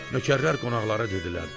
Nökərlər qonaqlara dedilər: